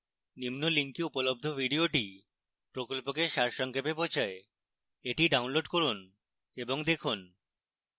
নিম্ন link উপলব্ধ video প্রকল্পকে সারসংক্ষেপে বোঝায় the ডাউনলোড করুন এবং দেখুন